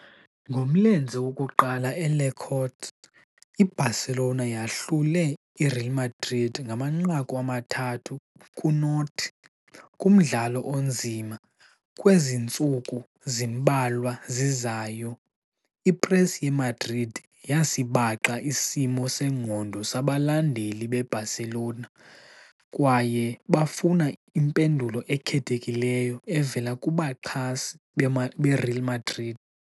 Ngomlenze wokuqala e- Les Corts, i-Barcelona yahlula i-Real Madrid 3-0, kumdlalo onzima. Kwezi ntsuku zimbalwa zizayo, i-press ye-Madrid yasibaxa isimo sengqondo sabalandeli be-Barcelona, kwaye bafuna impendulo ekhethekileyo evela kubaxhasi beReal Madrid.